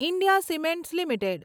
India cements limited